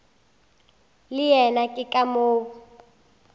le yena ke ka moo